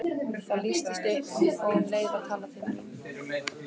Það lýstist upp og um leið var talað til mín.